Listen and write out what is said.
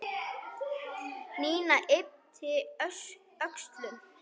Nína yppti öxlum.